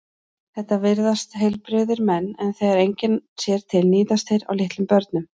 Þetta virðast heilbrigðir menn en þegar enginn sér til níðast þeir á litlum börnum.